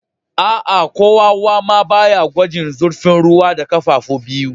Aa, ko wawa ma ba ya gwajin zurfin ruwa da kafafu biyu.